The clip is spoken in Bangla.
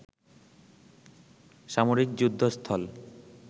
সামরিক যুদ্ধ স্থল